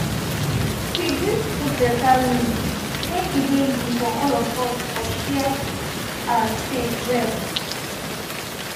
we gree to put beta rules make e dey easy for all of us for share our space well.